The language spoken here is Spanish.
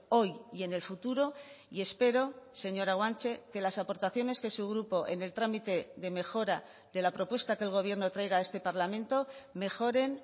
hoy y en el futuro y espero señora guanche que las aportaciones que su grupo en el trámite de mejora de la propuesta que el gobierno traiga a este parlamento mejoren